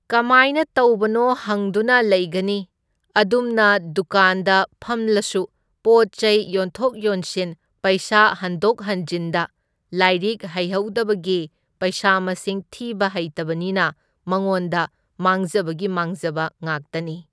ꯀꯃꯥꯏꯅ ꯇꯧꯕꯅꯣ ꯍꯪꯗꯨꯅ ꯂꯩꯒꯅꯤ, ꯑꯗꯨꯝꯅ ꯗꯨꯀꯥꯟꯗ ꯐꯝꯂꯁꯨ ꯄꯣꯠ ꯆꯩ ꯌꯣꯟꯊꯣꯛ ꯌꯣꯟꯁꯤꯟ ꯄꯩꯁꯥ ꯍꯟꯗꯣꯛ ꯍꯟꯖꯤꯟꯗ ꯂꯥꯏꯔꯤꯛ ꯍꯩꯍꯧꯗꯕꯒꯤ ꯄꯩꯁꯥ ꯃꯁꯤꯡ ꯊꯤꯕ ꯍꯩꯇꯕꯅꯤꯅ ꯃꯉꯣꯟꯗ ꯃꯥꯡꯖꯕꯒꯤ ꯃꯥꯡꯖꯕ ꯉꯥꯛꯇꯅꯤ꯫